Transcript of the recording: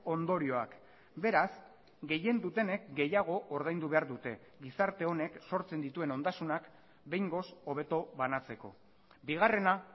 ondorioak beraz gehien dutenek gehiago ordaindu behar dute gizarte honek sortzen dituen ondasunak behingoz hobeto banatzeko bigarrena